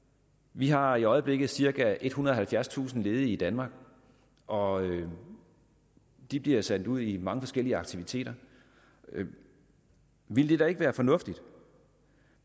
vi har i øjeblikket cirka ethundrede og halvfjerdstusind ledige i danmark og de bliver sendt ud i mange forskellige aktiviteter ville det da ikke være fornuftigt